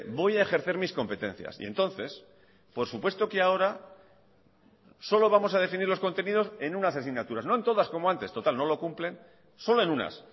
voy a ejercer mis competencias y entonces por supuesto que ahora solo vamos a definir los contenidos en unas asignaturas no en todas como antes total no lo cumplen solo en unas